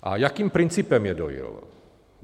A jakým principem je dojil?